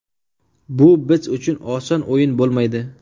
Bu biz uchun oson o‘yin bo‘lmaydi.